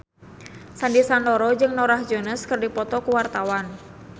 Sandy Sandoro jeung Norah Jones keur dipoto ku wartawan